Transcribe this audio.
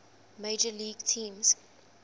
major league teams